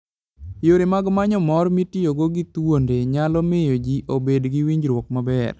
Yore mag manyo mor mitiyogo gi thuonde nyalo miyo ji obed gi winjruok maber.